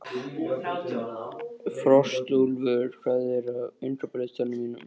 Frostúlfur, hvað er á innkaupalistanum mínum?